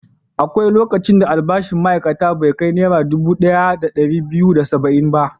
Akwai lokacin da albashin ma'aikaci bai kai Naira dubu ɗaya da ɗari biyu da saba'in ba.